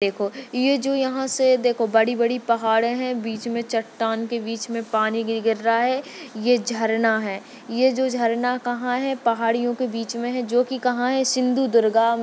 देखो ये जो यहाँ से देखो बड़ी बड़ी पहाड़े है बीच मे चट्टान के बीच मे पानी भी गिर रहा है ये झरना है ये जो झरना कहा है पहाड़ियों के बीच मे है जो की कहा है सिंदुदुर्गा--